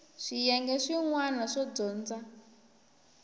swiyenge swin wana swo dyondza